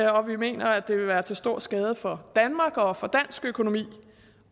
og vi mener at det vil være til stor skade for danmark og for dansk økonomi